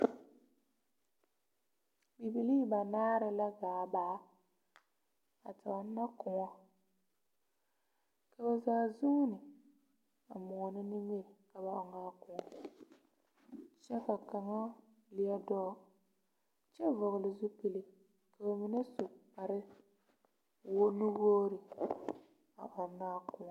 Bibilii banaare la gaa baa a ɔna kuon ka ba zaa zuuni a muuna nimiri ka ba ɔng a kuon kye ka kanga leɛ duo a vɔgle zupili ka ba su kpare nu wuori a ɔna a kuon.